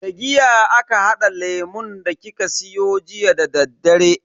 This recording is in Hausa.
Da giya aka hada lemun da kika siyo jiya dadaddare.